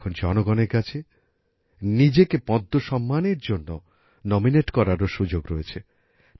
এখন জনগণের কাছে নিজেকে পদ্ম সম্মানের জন্য নমিনেট করারও সুযোগ রয়েছে